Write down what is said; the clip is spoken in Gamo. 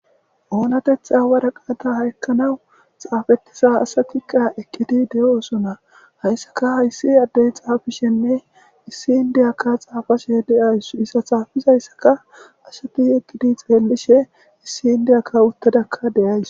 Oonatetha waraqaata haykkanawu xaafetisa asakiqa ekkidi de'o sona hayssaka hayssi addey xaafishenne issi indiyakka xaafashe deays issa xaafis hayssaka ashaki ekkidi xeellishe issi indiyakka uttadakka deyays.